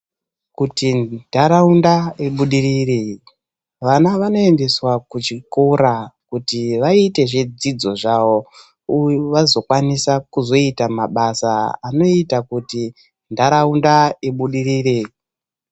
Kuti ndaraunda ibudirire, vana vanoendeswa kuchikora kuti vayite zvedzidzo zvavo ,uye vazokwanisa kuita mabasa anoyita kuti ndaraunda ibudirire.